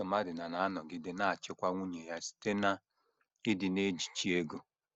Di Somadina na - anọgide na - achịkwa nwunye ya site n’ịdị na - ejichi ego.